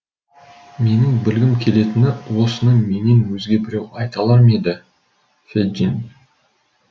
менің білгім келетіні осыны менен өзге біреу айта алар ма еді феджин